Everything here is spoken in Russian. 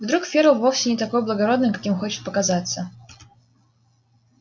вдруг ферл вовсе не такой благородный каким хочет показаться